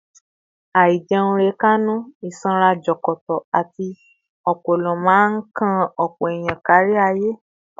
Àìjẹunrekánú, ìsanra jọ̀kọ̀tọ̀, àti ọpọlọ máa ń kan ọ̀pọ̀ èèyàn kárí ayé